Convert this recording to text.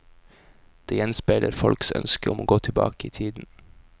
Det gjenspeiler folks ønske om å gå tilbake i tiden.